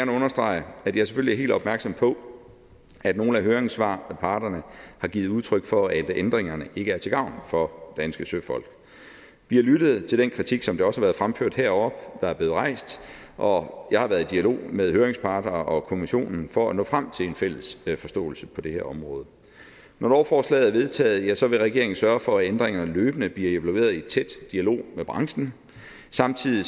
understrege at jeg selvfølgelig er helt opmærksom på at nogle af høringsparterne har givet udtryk for at ændringerne ikke er til gavn for danske søfolk vi har lyttet til den kritik som det også har været fremført heroppe der er blevet rejst og jeg har været i dialog med høringsparter og kommissionen for at nå frem til en fælles forståelse på det område når lovforslaget er vedtaget vil regeringen sørge for at ændringerne løbende bliver evalueret i tæt dialog med branchen samtidig